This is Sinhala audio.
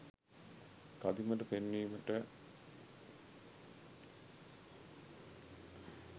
කදිමට පෙන්වීමට